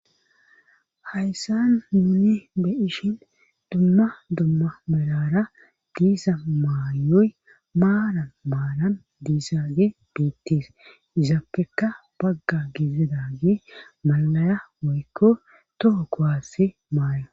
Hayssan nuni be'ishin dumma dumma melara diiza maayoy maalan maalan diizagey betees izappekka bagga gidizagey malaya woykko toho kuwaassi maayo